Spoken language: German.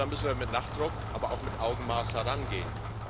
Ja, da müssen wir mit Nachdruck, aber auch mit Augenmaß herangehen.